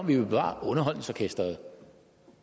vi vil bevare underholdningsorkestret